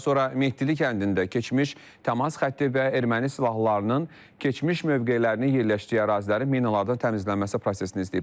Daha sonra Mehdili kəndində keçmiş təmas xətti və erməni silahlılarının keçmiş mövqelərini yerləşdiyi ərazilərin minalardan təmizlənməsi prosesini izləyiblər.